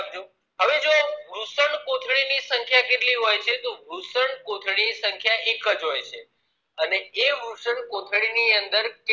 કોથળી ની સંખ્યા કેટલી હોય છે તો વૃષણ કોથળી ની સંખ્યા એકજ હોય છે અને એ વૃષણકોથળી ની અંદર